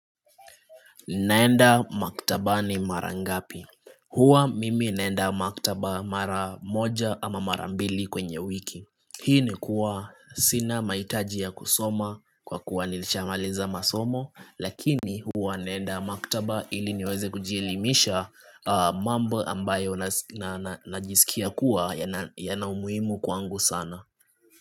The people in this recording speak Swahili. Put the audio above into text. Naenda maktabani mara ngapi? Huwa mimi naenda maktaba mara moja ama mara mbili kwenye wiki. Hii ni kuwa sina mahitaji ya kusoma kwa kuwa nilishamaliza masomo, lakini huwa naenda maktaba ili niweze kujielimisha mambo ambayo najisikia kuwa yana umuhimu kwangu sana.